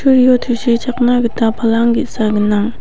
tusichakna gita palang ge·sa gnang.